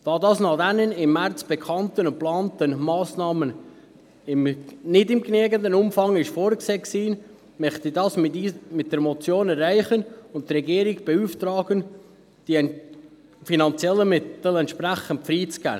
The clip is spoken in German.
Da dies nach den im März bekannt gemachten und geplanten Massnahmen nicht in genügendem Umfang vorgesehen war, möchte ich das mit der Motion erreichen und die Regierung beauftragen, die finanziellen Mittel entsprechend freizugeben.